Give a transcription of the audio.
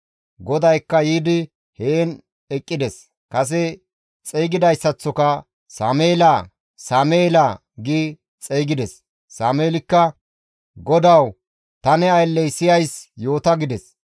GODAYKKA yiidi heen eqqides; kase xeygidayssaththoka, «Sameela! Sameela!» gi xeygides. Sameelikka, «GODAWU, ta ne aylley siyays, yoota» gides.